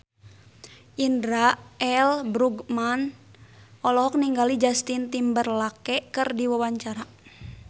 Indra L. Bruggman olohok ningali Justin Timberlake keur diwawancara